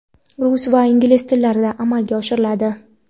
rus va ingliz tillarida amalga oshiriladi.